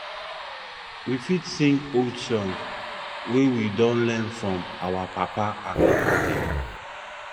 we fit sing old songs wey we don learn from our papa and mama dem